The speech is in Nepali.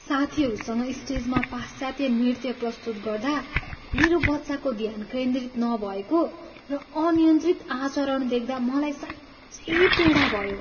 साथीहरूसँग स्टेजमा पाश्चात्य नृत्य प्रस्तुत गर्दा मेरो बच्चाको ध्यान केन्द्रित नभएको र अनियन्त्रित आचरण देख्दा मलाई साँच्चै पीडा भयो।